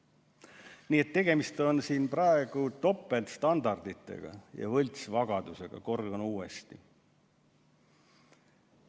Nii et tegemist on siin praegu topeltstandarditega ja võltsvagadusega – kordan uuesti.